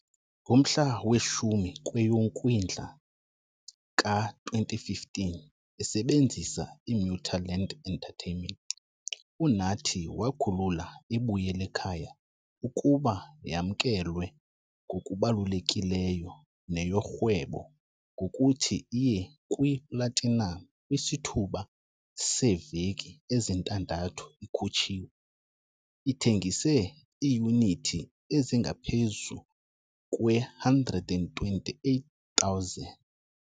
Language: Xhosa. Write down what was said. Ngomhla we-10 kweyoKwindla ka-2015, esebenzisa iMuthaland Entertainment, uNathi wakhulula iBuyelekhaya ukuba yamkelwe ngokubalulekileyo neyorhwebo ngokuthi iye kwiplatinam kwisithuba seeveki ezintandathu ikhutshiwe, ithengise iiyunithi ezingaphezu kwe-128,000.